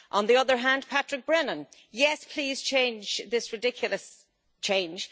On the other hand, Patrick Brennan Yes, please change this ridiculous change.